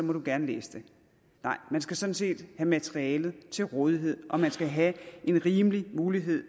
du gerne læse det nej man skal sådan set have materialet til rådighed og man skal have en rimelig mulighed